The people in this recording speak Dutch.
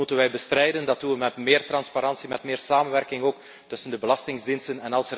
Dat moeten wij bestrijden, dat doen we met meer transparantie en met meer samenwerking tussen de belastingdiensten.